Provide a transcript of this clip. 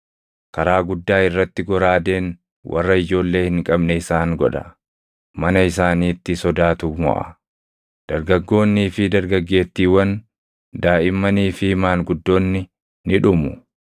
Karaa guddaa irratti goraadeen warra ijoollee hin qabne isaan godha; mana isaaniitti sodaatu moʼa. Dargaggoonnii fi dargaggeettiiwwan, daaʼimmanii fi maanguddoonni ni dhumu.